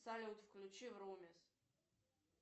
салют включи врумиз